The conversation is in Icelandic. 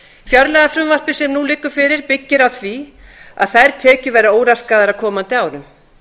fjárlagafrumvarpið sem nú liggur fyrir byggir á því að þær tekjur verði óraskaðar á komandi árum